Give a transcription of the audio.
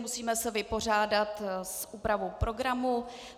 Musíme se vypořádat s úpravou programu.